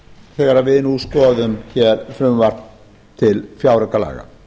þegar við nú skoðum frumvarp til fjáraukalaga